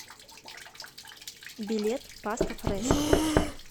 билет паста фрэска